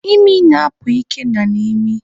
Imi na-apụ Ikenna n'imi